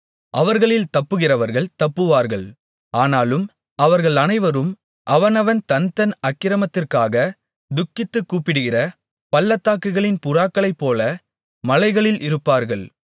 அவர்களில் தப்புகிறவர்கள் தப்புவார்கள் ஆனாலும் அவர்கள் அனைவரும் அவனவன் தன்தன் அக்கிரமத்திற்காக துக்கித்துக் கூப்பிடுகிற பள்ளத்தாக்குகளின் புறாக்களைப்போல மலைகளில் இருப்பார்கள்